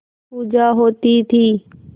पूजा होती थी